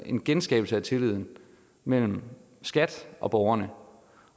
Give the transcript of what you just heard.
en genskabelse af tilliden mellem skat og borgerne